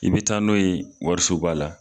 I bɛ taa n'o ye warisoba la.